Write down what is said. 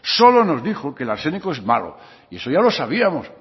solo nos dijo que el arsénico es malo y eso ya lo sabíamos